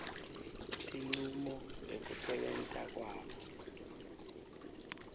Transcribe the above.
tincumo ngekusebenta kwabo